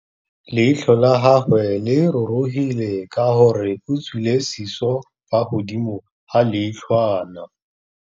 Leitlhô la gagwe le rurugile ka gore o tswile sisô fa godimo ga leitlhwana.